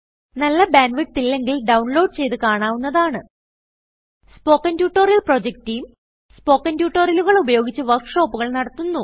നല്ല bandwidth ഇല്ലെങ്കിൽ download ചെയ്ത് കാണാവുന്നതാണ് spoken tutorial project team spoken ട്യൂട്ടോറിയലുകൾ ഉപയോഗിച്ച് വർക്ക് ഷോപ്പുകൾ നടത്തുന്നു